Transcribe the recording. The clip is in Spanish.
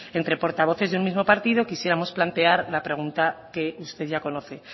entre portavoces de un mismo partido quisiéramos plantear la pregunta que usted ya conoce